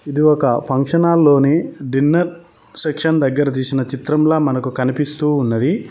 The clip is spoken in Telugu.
ఇది ఒక ఫంక్షన్ హాల్ లోని డిన్నర్ సెక్షన్ దగ్గర తీసిన చిత్రంలా మనకు కనిపిస్తూ ఉన్నది.